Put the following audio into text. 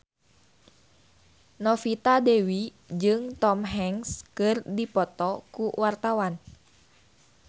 Novita Dewi jeung Tom Hanks keur dipoto ku wartawan